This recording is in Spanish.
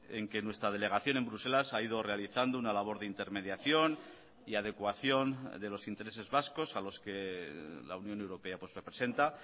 en que nuestra delegación en bruselas ha ido realizando una labor de intermediación y adecuación de los intereses vascos a los que la unión europea representa